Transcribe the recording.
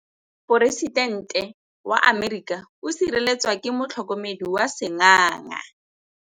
Poresitêntê wa Amerika o sireletswa ke motlhokomedi wa sengaga.